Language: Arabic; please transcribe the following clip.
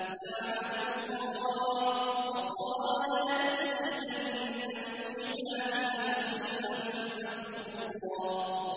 لَّعَنَهُ اللَّهُ ۘ وَقَالَ لَأَتَّخِذَنَّ مِنْ عِبَادِكَ نَصِيبًا مَّفْرُوضًا